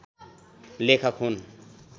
लेखक हुन्।